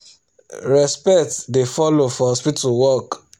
respect da follow for hospital work